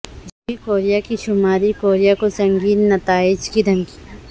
جنوبی کوریا کی شمالی کوریا کو سنگین نتائج کی دھمکی